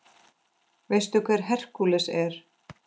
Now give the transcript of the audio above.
Veistu hver Hercules er?